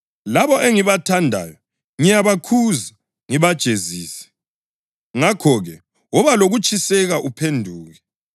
Labo engibathandayo ngiyabakhuza ngibajezise. Ngakho-ke, woba lokutshiseka uphenduke.